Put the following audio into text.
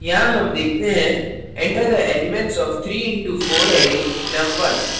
यहाँ हम देखते हैं enter the elements of 3 into 4 array num1